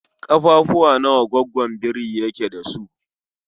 Ƙafafuwa nawa goggon biri yake da su?